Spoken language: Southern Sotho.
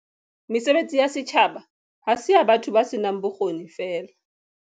Mesebetsi ya setjhaba ha se ya batho ba senang bokgoni feela.